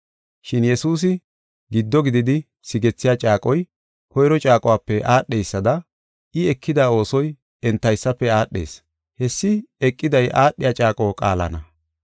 Shin Yesuusi giddo gididi sigethiya caaqoy, koyro caaquwape aadheysada I ekida oosoy entaysafe aadhees. Hessi eqiday aadhiya caaqo qaalana.